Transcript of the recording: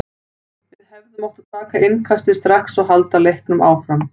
Við hefðum átt að taka innkastið strax og halda leiknum áfram.